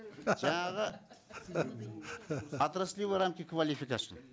жаңағы отраслевые рамки квалификации